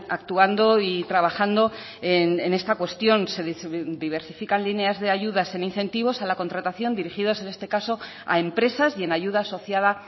actuando y trabajando en esta cuestión se diversifican líneas de ayudas en incentivos a la contratación dirigidos en este caso a empresas y en ayuda asociada